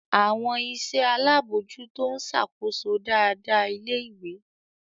Àwọn iṣẹ́ alábòójútó ń ṣàkóso dáadáa ilé-ìwé.